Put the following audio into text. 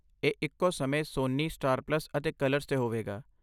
ਇਹ ਇੱਕੋ ਸਮੇਂ ਸੋਨੀ, ਸਟਾਰ ਪਲੱਸ ਅਤੇ ਕਲਰਸ 'ਤੇ ਹੋਵੇਗਾ।